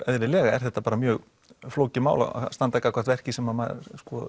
er þetta mjög flókið mál að standa gagnvart verki sem maður